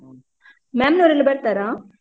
ಹ. ಮ್ಯಾಮ್ನವರೆಲ್ಲ ಬರ್ತಾರಾ?